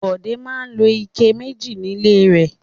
Bọ̀dé máa ń lo ike méjì nílé rẹ̀.